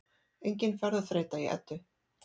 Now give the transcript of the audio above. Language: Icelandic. Engin ferðaþreyta í Eddu